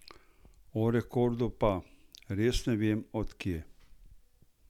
O rekordu pa: "Res ne vem, od kje.